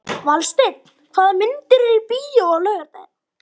Valsteinn, hvaða myndir eru í bíó á laugardaginn?